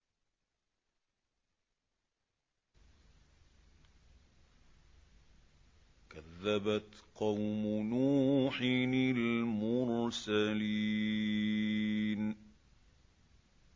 كَذَّبَتْ قَوْمُ نُوحٍ الْمُرْسَلِينَ